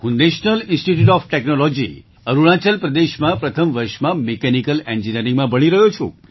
હું national institute of technology Arunachal પ્રદેશમાં પ્રથમ વર્ષમાં મિકેનિકલ ઍન્જિનિયરિંગમાં ભણી રહ્યો છું